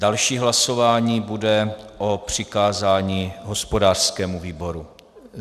Další hlasování bude o přikázání hospodářskému výboru.